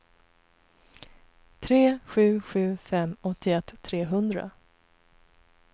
tre sju sju fem åttioett trehundra